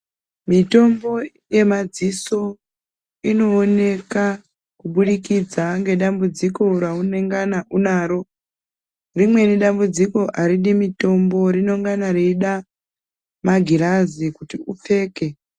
Mitombo ye madziso ino oneka ku budikidza nge dambudziko ra unengana unaro rimweni dambudziko aridi mitombo rino ngana reida magirazi kuti upfeke.